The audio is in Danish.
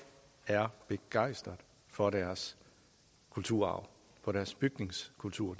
er begejstrede for deres kulturarv for deres bygningskultur